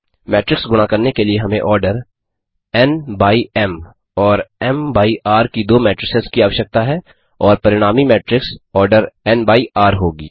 matrix गुणा करने के लिए हमें order N N by M M और M M by R R की दो मेट्रिसेस की आवश्यकता है और परिणामी matrix order N N by R R होगी